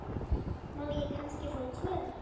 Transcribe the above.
Má ég kannski fá tvö?